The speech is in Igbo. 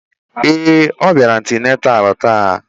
Ee, obiara antenatal taa.